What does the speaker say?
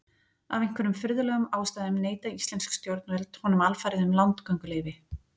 Af einhverjum furðulegum ástæðum neita íslensk stjórnvöld honum alfarið um landgönguleyfi.